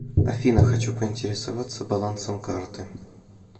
афина хочу поинтересоваться балансом карты